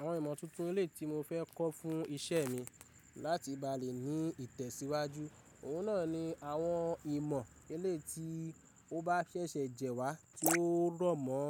Àwọn ìmọ̀ tuntun ele tí mo fẹ́ kọ́ fún ìṣe mi láti bá lè ní ìtẹ̀síwájú, òun náà ni àwọn ìmọ̀ ele tí ó bá ṣẹ̀ṣẹ̀ jẹ́ wá tí ó rọ̀mọ́